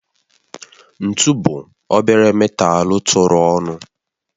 Ntu bụ obere metalu tụrụ ọnụ